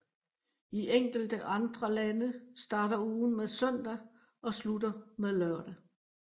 I enkelte andre lande starter ugen med søndag og slutter med lørdag